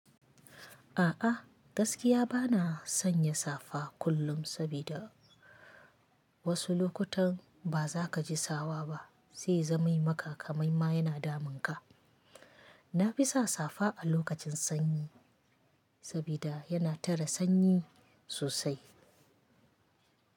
A'a gaskiya bana son ya safa kullum saboda wasu lokutan ba za ka ji sawa ba, sai zamani maka kamai ma yana damun ka. Na fi sa safa a lokacin sanyi saboda yana tare sanyi sosai.